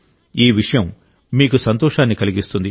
ఈ విషయం మీకు సంతోషాన్ని కలిగిస్తుంది